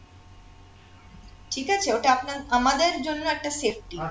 ঠিক আছে ওটা আপনার আমাদের জন্য একটা safety